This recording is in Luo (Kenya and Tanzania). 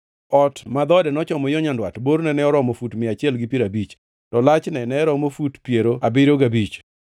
Ot ma dhoode nochomo yo nyandwat borne ne oromo fut mia achiel gi piero abich, to lachne ne romo fut piero abiriyo gabich.